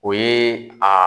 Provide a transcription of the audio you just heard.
O ye a